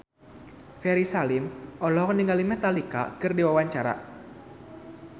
Ferry Salim olohok ningali Metallica keur diwawancara